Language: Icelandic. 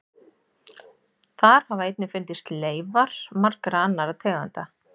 Þar hafa einnig fundist leifar margra annarra tegunda.